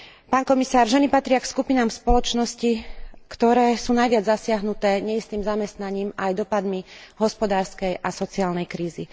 Pán komisár, ženy patria k skupinám spoločnosti, ktoré sú najviac zasiahnuté neistým zamestnaním, aj dopadmi hospodárskej a sociálnej krízy.